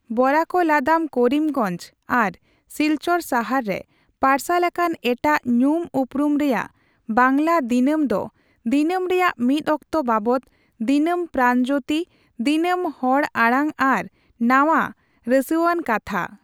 ᱵᱚᱨᱟᱠ ᱞᱟᱫᱟᱢ ᱠᱚᱨᱤᱢᱜᱚᱧᱡ ᱟᱨ ᱥᱤᱞᱪᱚᱨ ᱥᱟᱦᱟᱨ ᱨᱮ ᱯᱟᱨᱥᱟᱞ ᱟᱠᱟᱱ ᱮᱴᱟᱜ ᱧᱩᱢᱼᱩᱨᱩᱢ ᱨᱮᱭᱟᱜ ᱵᱟᱝᱞᱟ ᱫᱤᱱᱟᱹᱢ ᱫᱚ ᱫᱤᱱᱟᱹᱢ ᱨᱮᱭᱟᱜ ᱢᱤᱫᱚᱠᱛᱚ ᱵᱟᱵᱚᱛ, ᱫᱤᱱᱟᱹᱢ ᱯᱨᱟᱱᱡᱳᱛᱤ, ᱫᱤᱱᱟᱹᱢ ᱦᱚᱲ ᱟᱲᱟᱝ ᱟᱨ ᱱᱟᱣᱟ ᱨᱟᱹᱥᱣᱟᱱ ᱠᱟᱛᱷᱟ ᱾